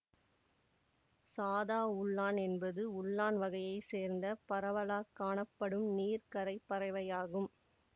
சாதா உள்ளான் என்பது உள்ளான் வகையை சேர்ந்த பரவலாக் காணப்படும் நீர்க்கரை பறவையாகும்